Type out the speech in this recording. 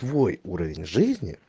твой уровень жизни